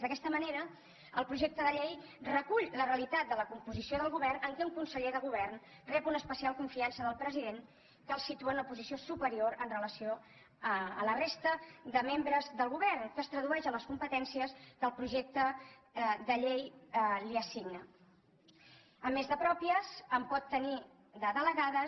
d’aquesta manera el projecte de llei recull la realitat de la composició del govern en què un conseller de govern rep una especial confiança del president que el situa en una posició superior en relació amb la resta de membres del govern que es tradueix a les competències que el projecte de llei li assigna a més de pròpies en pot tenir de delegades